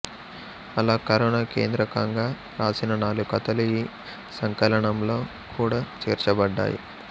అలా కరోనా కేంద్రకంగా రాసిన నాలుగు కథలు ఈ సంకలనంలో కూడా చేర్చబడ్డాయి